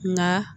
Nka